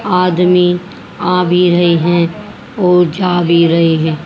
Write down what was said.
आदमी आ भी रही है और जा भी रही है।